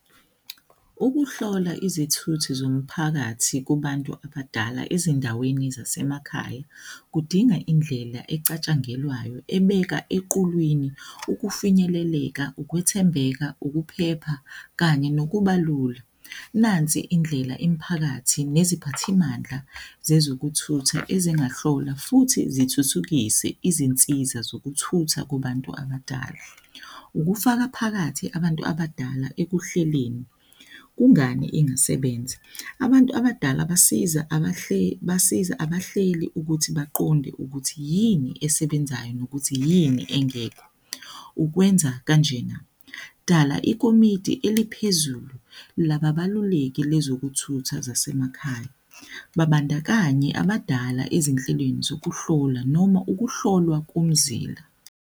Ukuhlola izithuthi zomphakathi kubantu abadala ezindaweni zasemakhaya kudinga indlela ecatshangelwayo, ebeka equlwini, ukufinyeleleka, ukwethembeka, ukuphepha kanye nokuba lula. Nansi indlela imiphakathi neziphathimandla zezokuthutha ezingahlola futhi zithuthukise izinsiza zokuthutha kubantu abadala. Ukufaka phakathi abantu abadala ekuhleleni. Kungani engasebenza? Abantu abadala basiza abahleli, basiza abahleli ukuthi baqonde ukuthi yini esebenzayo nokuthi yini engekho ukwenza kanjena, dala ikomidi eliphezulu laba baluleki bezokuthutha zasemakhaya babandakanye abadala ezinhlelweni zokuhlola noma ukuhlolwa komzila.